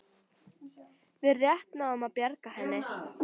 Við rétt náðum að bjarga henni